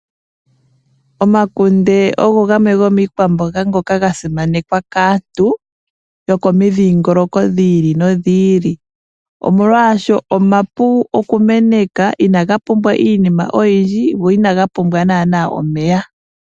Omakunde ogo gamwe gomiikwamboga ngoka ga simanekwa kaantu yoko mi dhiingoloko dhi ili nodhi ili, omolwaasho omapu oku meneka inaga pumbwa iinima oyindji, go inaga pumbwa naana omeya.